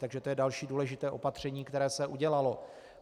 Takže to je další důležité opatření, které se udělalo.